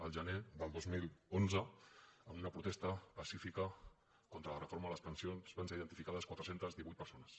el gener del dos mil onze en una protesta pacífica contra la reforma de les pensions van ser identificades quatre cents i divuit persones